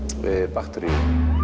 bakteríur